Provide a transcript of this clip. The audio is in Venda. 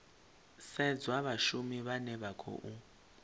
sedzwa vhashumi vhane vha khou